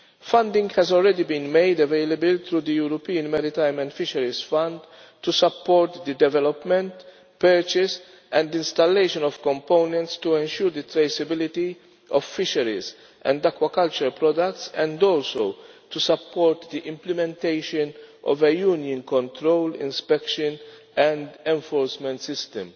Funding has already been made available through the European Maritime and Fisheries Fund to support the development, purchase and installation of components to ensure the traceability of fisheries and aquaculture products and also to support the implementation of a Union control inspection and enforcement system.